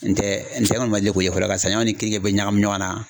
N tɛ n tɛ n kɔni ma deli k'o ye fɔlɔ ka saɲɔ ni keninge bɛɛ ɲagami ɲɔgɔnna